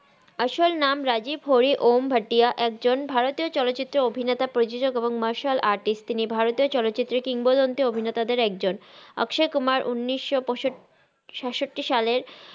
আসল নাম রাজিব ঘড়ি অম ঘাঁটিয়া একজন ভারাতিয়া চলচিত্রর অভিনেতা প্রজজক এবং মারশাল আর্টিস্ট আস্কসাই কুমার উনিস সাত সাত্তি সালের